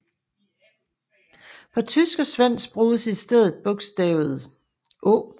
På tysk og svensk bruges i stedet bogstavet Ä